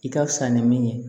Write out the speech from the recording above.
I ka fisa ni min ye